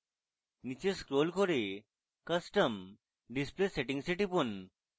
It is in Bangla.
নীচে scroll করে custom display settings এ টিপুন